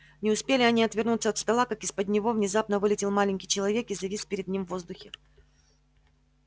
не успели они отвернуться от стола как из-под него внезапно вылетел маленький человечек и завис перед ним в воздухе